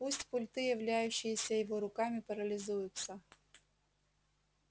пусть пульты являющиеся его руками парализуются